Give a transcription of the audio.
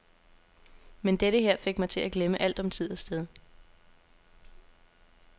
Men dette her fik mig til at glemme alt om tid og sted.